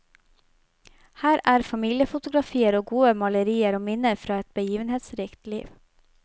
Her er familiefotografier og gode malerier og minner fra et begivenhetsrikt liv.